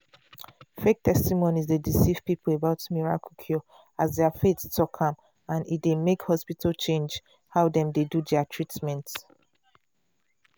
fake testimonies dey deceive people about miracle cure as their faith talk am and e dey make hospital change how dem dey do their treatment.